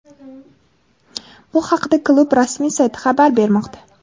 Bu haqda klub rasmiy sayti xabar bermoqda.